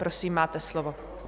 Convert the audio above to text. Prosím, máte slovo.